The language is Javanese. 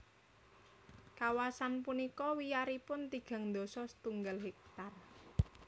Kawasan punika wiyaripun tigang dasa setunggal hektar